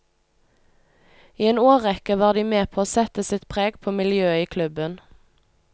I en årrekke var de med på å sette sitt preg på miljøet i klubben.